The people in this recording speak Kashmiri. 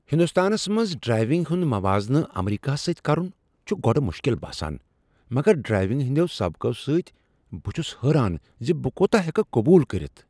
ہنٛدوستانس منٛز ڈرائیونگ ہنٛد موازنہٕ امریکہس سۭتۍ کرُن چُھ گوڈٕ مُشکِل باسان ، مگر ڈرائیونگ ہندیو سبقو سۭتۍ۔ بہٕ چھُس حیران زِ بہٕ كوتاہ ہیكہٕ قبول کرتھ !